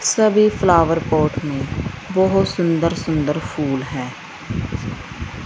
सभी flower pot में बहोत सुंदर सुंदर फूल है।